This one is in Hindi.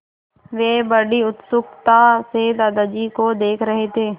वे बड़ी उत्सुकता से दादाजी को देख रहे थे